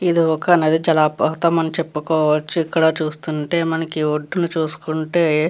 ఇది ఒక నది జలపాతము అని చేపుకోవోచ్చు ఇక్కడ చూస్తుంటే మనకి వొడ్డున చూస్కుంటే --